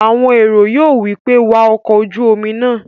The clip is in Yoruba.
Àwọn èrò yóò wí pé "wa ọkọ̀-ojúomi náà!"